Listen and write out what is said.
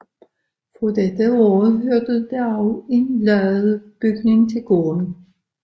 Fra dette år hørte der også en ladebygning til gården